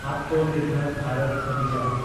ᱟᱛᱢᱚᱱᱤᱨᱵᱷᱚᱨ ᱵᱷᱟᱨᱚᱛ ᱚᱵᱷᱤᱡᱟᱱ